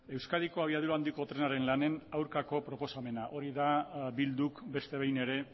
euskadi abiadura handiko trenaren lanen aurkako proposamena hori da bilduk beste behin ere